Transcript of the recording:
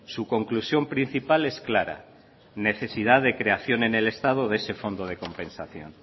su conclusión principal es clara necesidad de creación en el estado de ese fondo de compensación